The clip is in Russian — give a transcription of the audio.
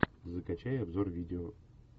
закачай обзор видео